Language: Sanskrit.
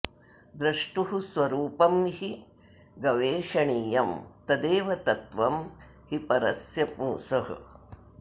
द्रष्टुः स्वरूपं हि गवेषणीयं तदेव तत्त्वं हि परस्य पुंसः